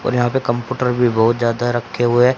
और यहां पे कंपूटर भी बहोत ज्यादा रखे हुए--